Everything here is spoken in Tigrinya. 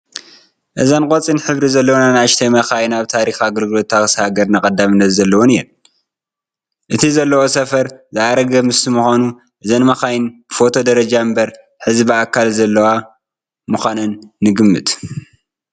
እዘን ቆፂል ሕብሪ ዘለወን ኣናእሽቱ መኻይን ኣብ ታሪክ ኣገልግሎት ታክሲ ሃገርና ቀዳምነት ዘለወን እየን፡፡ እቲ ዘለውኦ ሰፈር ዝኣረገ ምስ ምዃኑ እዘን መዃይን ብፎቶ ደረጃ እምበር ሕዚ ብኣካል ዘየለዋ ምዃነን ንግምት፡፡